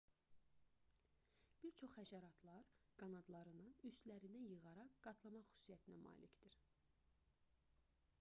bir çox həşəratlar qanadlarını üstlərinə yığaraq qatlamaq xüsusiyyətinə malikdir